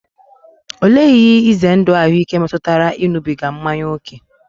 Olee ihe ize ndụ ahụike metụtara ịṅụbiga mmanya ókè?